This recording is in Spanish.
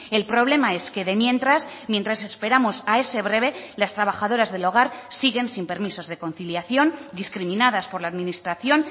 el problema es que de mientras mientras esperamos a ese breve las trabajadoras del hogar siguen sin permisos de conciliación discriminadas por la administración